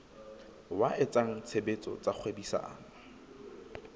wa etsa tshebetso tsa kgwebisano